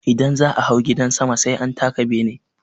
Idan za'a hau gidan sama sai an taka bene.